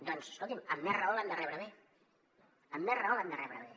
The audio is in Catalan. doncs escolti’m amb més raó l’han de rebre bé amb més raó l’han de rebre bé